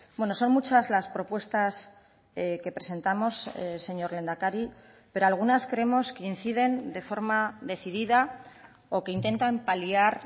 bueno son muchas las propuestas que presentamos señor lehendakari pero algunas creemos que inciden de forma decidida o que intentan paliar